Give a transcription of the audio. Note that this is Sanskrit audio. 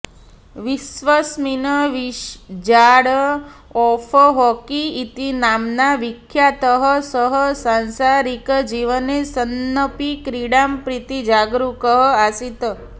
विश्वस्मिन् विझार्ड् ओफ् हॉकी इति नाम्ना विख्यातः सः सांसारिकजीवने सन्नपि क्रीडां प्रति जागरूकः आसीत्